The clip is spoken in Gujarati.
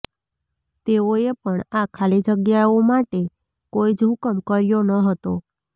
તેઓએ પણ આ ખાલી જગ્યાઓ માટે કોઇ જ હુકમ કર્યો ન હતો